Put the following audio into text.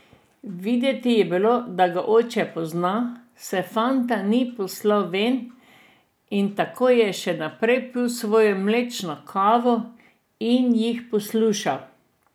Videti je bilo, da ga oče pozna, saj fanta ni poslal ven, in tako je ta še naprej pil svojo mlečno kavo in jih poslušal.